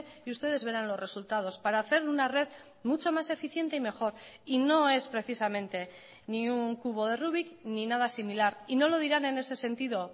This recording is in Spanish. y ustedes verán los resultados para hacer una red mucho más eficiente y mejor y no es precisamente ni un cubo de rubik ni nada similar y no lo dirán en ese sentido